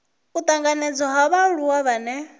u tanganedzwa ha vhaaluwa vhane